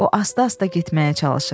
O asta-asta getməyə çalışır.